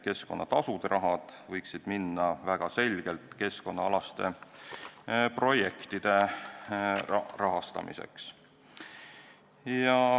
Keskkonnatasude raha võiks minna väga selgelt keskkonnaprojektide rahastamiseks.